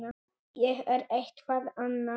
Ég er eitthvað annað.